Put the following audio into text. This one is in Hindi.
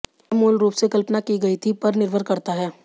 क्या मूल रूप से कल्पना की गई थी पर निर्भर करता है